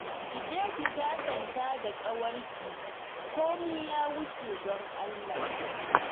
Ki je ki sassanta da ƙawarki, komai ya wuce don Allah